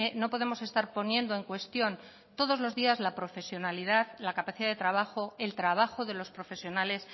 no podemos estar poniendo en cuestión todos los días la profesionalidad la capacidad de trabajo el trabajo de los profesionales